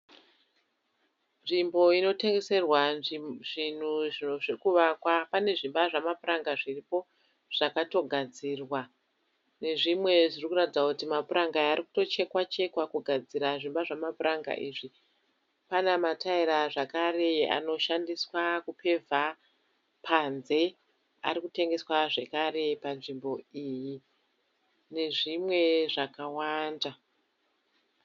Nzvimbo inotengeserwa zvinhu zvekuvakwa. Pane zvimba zvemapuranga zviripo zvakatogadzirwa. Nezvimwe zvirikuratidza kuti mapuranga aya arikutochekwachekwa kugadzira zvimba zvamapuranga izvi. Pana mataira zvakare anoshandiswa kupevha panze, arikutengeswa zvekare panzvimbo iyi, nezvimwe zvakawanda.